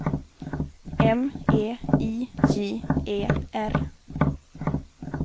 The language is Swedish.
M E I J E R